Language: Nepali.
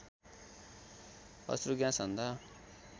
अश्रु ग्यास हान्दा